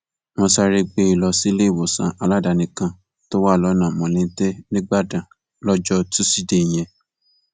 wọn sáré gbé e lọ síléèwòsàn aládàáni kan tó wà lọnà mọlọtẹ nígbàdàn lọjọ tusidee yẹn